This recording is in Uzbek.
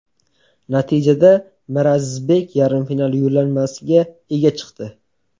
Natijada Mirazizbek yarim final yo‘llanmasiga ega chiqdi.